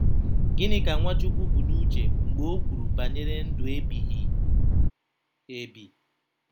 Gịnị ka Nwachukwu bu n’uche mgbe o kwuru banyere ndụ ebighị ebi?